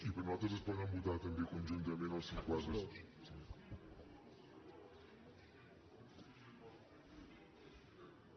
i per nosaltres es poden votar també conjuntament el cinquanta quatre